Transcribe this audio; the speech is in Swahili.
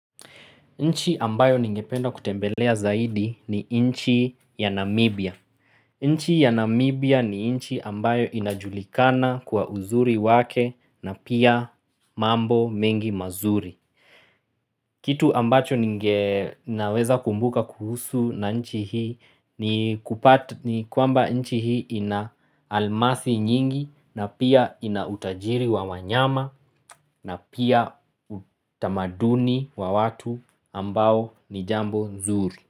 Nchi ambayo ningependa kutembelea zaidi ni nchi ya Namibia. Nchi ya Namibia ni nchi ambayo inajulikana kwa uzuri wake na pia mambo mengi mazuri. Kitu ambacho ninaweza kumbuka kuhusu na nchi hii ni kwamba nchi hii ina almasi nyingi na pia ina utajiri wa wanyama na pia utamaduni wa watu ambao nijambo nzuri.